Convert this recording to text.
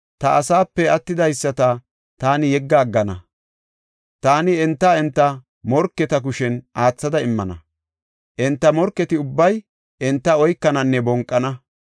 Ta asaape attidaysata taani yegga aggana; taani enta enta morketa kushen aathada immana. Enta morketi ubbay enta oykananne bonqana.